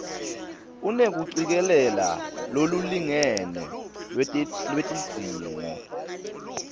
unekucikelela lolulingene lwetidzingo